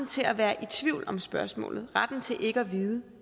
til at være i tvivl om spørgsmålet retten til ikke at vide